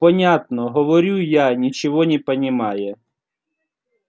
понятно говорю я ничего не понимая